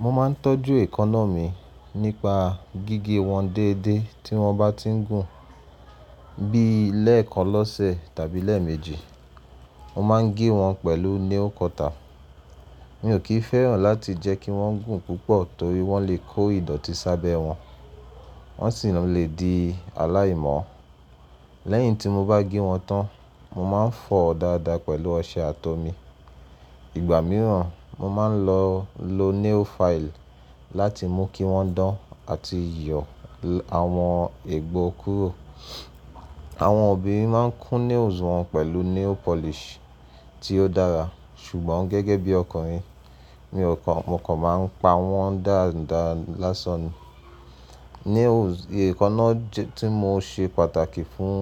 Mo ma ńtọ́jú èkaná mi nípa gígé wọn déédéé tí wọ́n bá ti ń gùn bi lẹ́ẹ̀kan lọ́sẹ̀ tàbí lẹ́ẹ̀méji. Mo máa ń gé wọn pẹ̀lú nail cutter. Mi ò kì í fẹ́ràn láti jẹ́ kí wọ́n gùn púpọ̀ torí wọ́n le kó ìdọ̀tí sábẹ̀ wọ́n, wọ́n sì lè di aláìmòọ́. Lẹ́yìn tí mo bá gé wọn tán, mo máa ń foo dáadáa pẹ̀lú ọṣẹ àtomi. Ìgbà mìíràn, mo máa ń lọ lo nail file láti mú kí wọ́n dán àti yọ àwọn egbó kúrò. Àwọn obìnrin máa ń kún nails wọn pẹ̀lú nail polish tí ó dára ṣùgbọ́n gẹ́gẹ́ bí ọkùnrin mi ò kan, mo kọ̀ máa ń pa wọ́n dáadáá lasàn ni. Nails, èkaná tí mo ṣe pàtàkì fún